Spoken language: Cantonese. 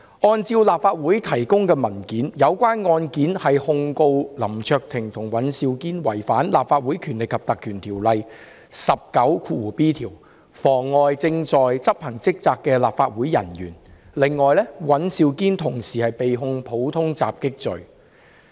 根據立法會提供的文件，有關案件是控告林卓廷議員和尹兆堅議員違反《立法會條例》第 19b 條，妨礙正在執行職責的立法會人員；此外，尹兆堅議員同時被控普通襲擊罪。